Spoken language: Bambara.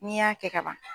N'i y'a kɛ kaban